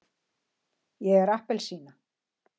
ég er appelsína.